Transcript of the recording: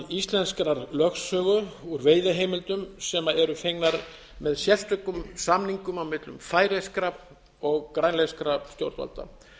íslenskrar lögsögu úr veiðiheimildum sem eru fengnar með sérstökum samningum á millum færeyskra og grænlenskra stjórnvalda